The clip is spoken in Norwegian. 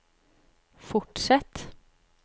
fortsett